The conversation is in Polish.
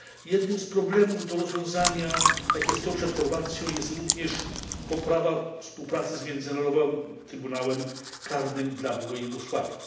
Jednym z problemów do rozwiązania, jakie stoją przed Chorwacją, jest również poprawa współpracy z Międzynarodowym Trybunałem Karnym dla Byłej Jugosławii.